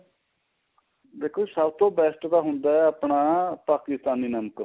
ਦੇਖੋ ਸਭ ਤੋ best ਤਾਂ ਹੁੰਦਾ ਏ ਆਪਣਾ ਪਾਕਿਸਤਾਨੀ ਨਮਕ